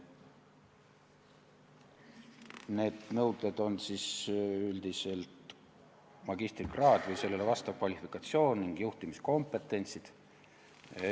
Need nõuded on magistrikraad või sellele vastav kvalifikatsioon ning juhtimiskompetentsid.